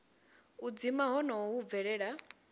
u dzima honoho hu bvelela